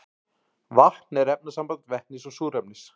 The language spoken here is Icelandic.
vatn er efnasamband vetnis og súrefnis